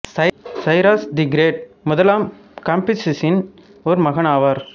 Cyrus the Great முதலாம் காம்பிசஸ்ஸின் ஒரு மகன் ஆவார்